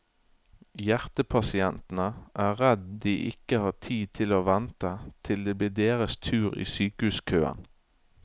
Hjertepasientene er redd de ikke har tid til å vente til det blir deres tur i sykehuskøen.